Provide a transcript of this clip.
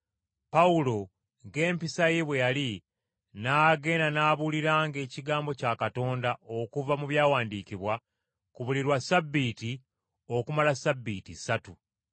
Pawulo, ng’empisa ye bwe yali, n’agenda n’ababuuliranga ekigambo kya Katonda okuva mu byawandiikibwa, ku buli lwa Ssabbiiti okumala Ssabbiiti ssatu.